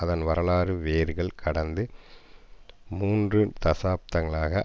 அதன் வரலாற்று வேர்கள் கடந்த மூன்று தசாப்தங்களாக